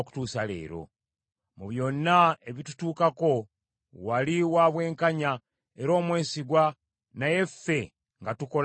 Mu byonna ebitutuukako, wali wa bwenkanya, era omwesigwa naye ffe nga tukola bibi byereere.